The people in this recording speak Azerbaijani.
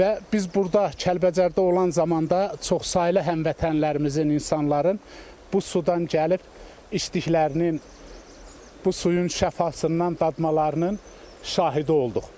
Və biz burda Kəlbəcərdə olan zamanda çoxsaylı həmvətənlərimizin, insanların bu sudan gəlib işdiklərinin bu suyun şəfasından dadmalarının şahidi olduq.